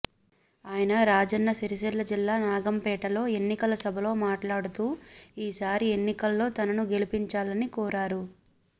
ఆయన రాజన్న సిరిసిల్ల జిల్లా నాగంపేటలో ఎన్నికల సభలో మాట్లాడుతూ ఈ సారి ఎన్నికల్లో తనను గెలిపించాలని కోరారు